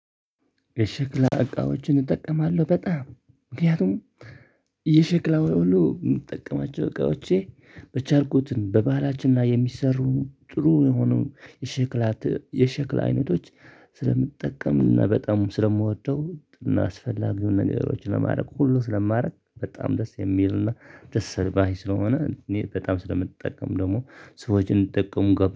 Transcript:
የሽክላ እቃዎችን እጠቀማለሁ በጣም ምክንያቱም የሽክላ ሁሉ የምጠቀማቸው እቃዎቼ በቻልኩትን በባህላችን ላይ የሚሰሩ ጥሩ የሆኑ የሸክላ የሸክላ አይነቶች ስለምትጠቀምና በጣም ስለምወደው አስፈላጊውን ነገሮች ለማድረግ ሁሉ ስለማድረግ በጣም ደስ የሚልና ደስ አል ባይ ስለሆነ እኔ በጣም ስለምጠቀም ደግሞ ሰዎችን እንድጠቀሙ ገብዛለሁ